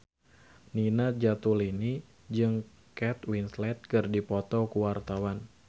Nina Zatulini jeung Kate Winslet keur dipoto ku wartawan